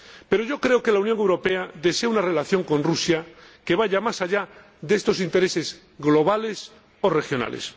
Pero yo creo que la Unión Europea desea una relación con Rusia que vaya más allá de estos intereses globales o regionales.